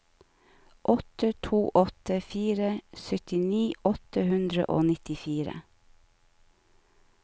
åtte to åtte fire syttini åtte hundre og nittifire